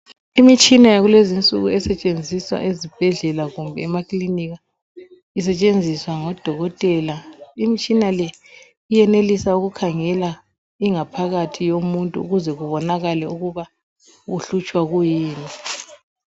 Imitshina yakulezinsuku esetshenziswa ezibhedlela kumbe emakilinika isetshenziswa ngodokotela. Imitshina le iyenelisa ukukhangela ingaphakathi yomuntu ukuze kubonakale ukuba uhlutshwa kuyini.